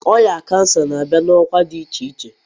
Ọrịa cancer na-abịa na ọkwa dị iche iche.